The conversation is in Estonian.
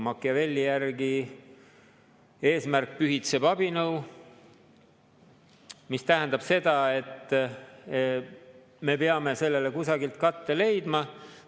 Machiavelli järgi eesmärk pühitseb abinõu, mis tähendab seda, et me peame sellele kusagilt katte leidma.